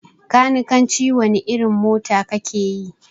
Kanikanci wani irin mota kakeyi?